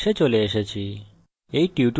আমরা we tutorial শেষে চলে এসেছি